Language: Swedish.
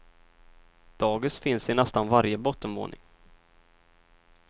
Dagis finns i nästan varje bottenvåning.